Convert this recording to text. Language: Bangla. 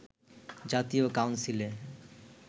জাতীয় কাউন্সিলে